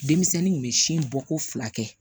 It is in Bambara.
Denmisɛnnin kun bɛ sin bɔ ko fila kɛ